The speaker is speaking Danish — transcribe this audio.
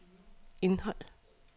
indhold